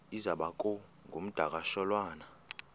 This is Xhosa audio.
iza kuba ngumdakasholwana